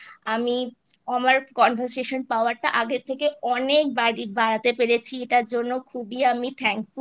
আমি আমার Conversation Power টা আগের থেকে অনেক বাড়ি বাড়াতে পেরেছি এটার জন্য খুবই আমি Thankful